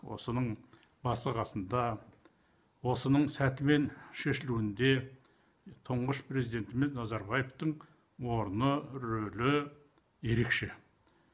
осының басы қасында осының сәтімен шешілуінде тұңғыш президентіміз назарбаевтың орны рөлі ерекше